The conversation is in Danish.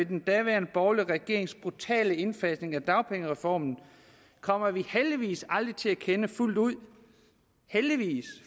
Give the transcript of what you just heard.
den daværende borgerlige regerings brutale indfasning af dagpengereformen kommer vi heldigvis aldrig til at kende fuldt ud heldigvis